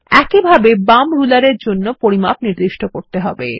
একইভাবে বাম রুলার এর জন্য পরিমাপ নির্দিষ্ট করতে হবে